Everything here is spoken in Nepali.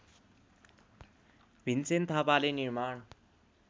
भीमसेन थापाले निर्माण